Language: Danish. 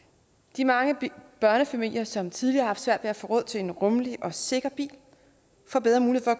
de mange børnefamilier som tidligere har haft svært ved at få råd til en rummelig og sikker bil får bedre muligheder